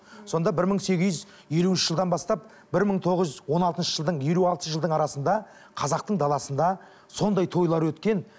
сонда бір мың сегіз жүз елуінші жылдан бастап бір мың тоғыз жүз он алтыншы жылдың елу алты жылдың арасында қазақтың даласында сондай тойлар өткен